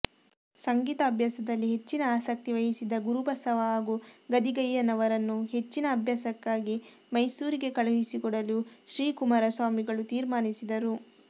ಸಂಗೀತಾಭ್ಯಾಸದಲ್ಲಿ ಹೆಚ್ಚಿನ ಆಸಕ್ತಿವಹಿಸಿದ್ದ ಗುರುಬಸವ ಹಾಗೂ ಗದಿಗೆಯ್ಯನವರನ್ನು ಹೆಚ್ಚಿನ ಅಭ್ಯಾಸಕ್ಕಾಗಿ ಮೈಸೂರಿಗೆ ಕಳುಹಿಸಿಕೊಡಲು ಶ್ರೀ ಕುಮಾರಸ್ವಾಮಿಗಳು ತೀರ್ಮಾನಿಸಿದರು